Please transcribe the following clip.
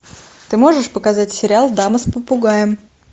ты можешь показать сериал дама с попугаем